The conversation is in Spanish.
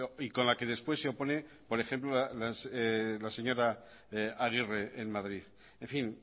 y con la que después se opone por ejemplo la señora aguirre en madrid en fin